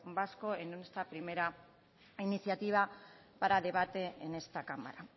vasco en esta primera iniciativa para debate en esta cámara